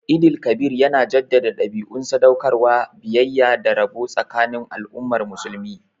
Eid el-Kabir yana jaddada dabi'un sadaukarwa, biyayya, da rabo tsakanin al'ummar musulmi